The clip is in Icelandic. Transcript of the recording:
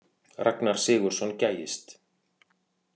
Ragnar Sigurðsson gægist.